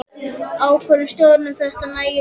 Ákvörðun stjórnar um þetta efni nægir því ekki.